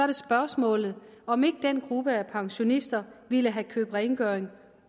det spørgsmålet om ikke den gruppe af pensionister ville have købt rengøring